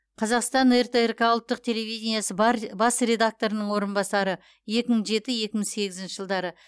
қазақстан ртрк ұлттық телевидениесі бар бас редакторының орынбасары екі мың жеті екі мың сегізінші жылдары